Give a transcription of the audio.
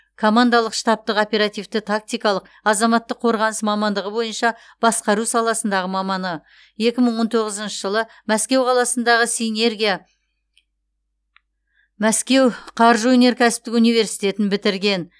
командалық штабтық оперативті тактикалық азаматтық қорғаныс мамандығы бойынша басқару саласындағы маманы екі мың он тоғызыншы жылы мәскеу қаласындағы синергия мәскеу қаржы өнеркәсіптік университетін бітірген